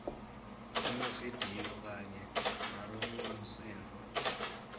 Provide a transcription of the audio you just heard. emavidiyo kanye nalokungumsindvo